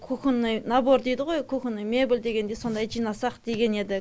кухонный набор дейді ғой кухонный мебель дегендей сондай жинасақ деген едік